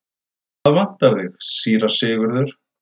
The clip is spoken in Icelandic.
Hvað vantar þig, síra Sigurður?